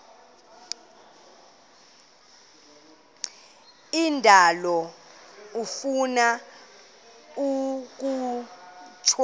indalo ifuna ukutya